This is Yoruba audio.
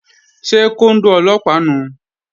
Ṣé kóndó Ọlọ́pàá nùu?